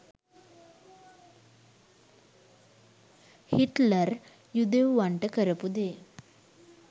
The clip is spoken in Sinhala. හිට්ලර් යුදෙව්වන්ට කරපු දේ